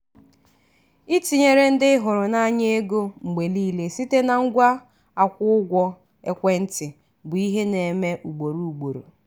itinyere ndị ịhụrụ n'anya ego mgbe niile site na ngwa akwụ ụgwọ ekwentị bụ ihe na-eme ugboro ugboro.